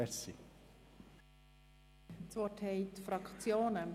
Das Wort haben die Fraktionen.